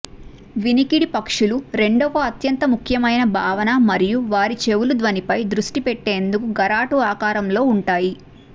వినికిడి పక్షులు రెండవ అత్యంత ముఖ్యమైన భావన మరియు వారి చెవులు ధ్వనిపై దృష్టి పెట్టేందుకు గరాటు ఆకారంలో ఉంటాయి